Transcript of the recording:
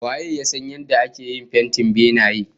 Waye ya san yadda ake iya yin fentin benaye?